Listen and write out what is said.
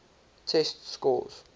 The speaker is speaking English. test scores